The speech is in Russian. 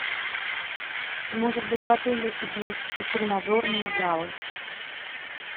может быть в отеле есть тренажерные залы